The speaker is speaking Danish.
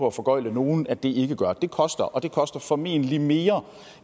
at foregøgle nogen at det ikke gør det det koster og det koster formentlig mere